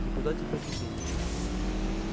никуда теперь не денется